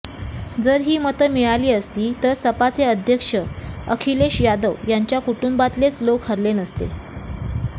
जर ही मतं मिळाली असती तर सपाचे अध्यक्ष अखिलेश यादव यांच्या कुटुंबातलेच लोक हरले नसते